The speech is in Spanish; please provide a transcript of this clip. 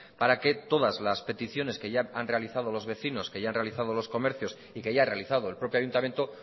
para que todas las peticiones que ya han realizado los vecinos que ya han realizado los comercios y que ya ha realizado el propio ayuntamiento